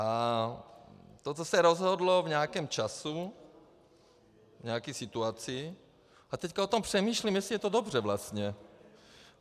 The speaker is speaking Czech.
A to, co se rozhodlo v nějakém čase, v nějaké situaci, a teď o tom přemýšlím, jestli je to dobře vlastně.